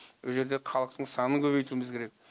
ол жерде халықтың санын көбейтуіміз керек